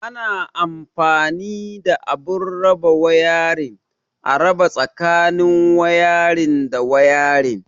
Ana anfani da abun raba wayarin, a raba tsakanin wayarin da wayarin.